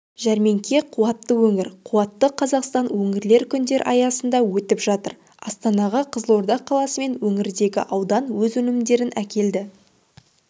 жәрмеңке қуатты өңір қуатты қазақстан өңірлер күндері аясында өтіп жатыр астанаға қызылорда қаласы мен өңірдегі аудан өз өнімдерін әкелді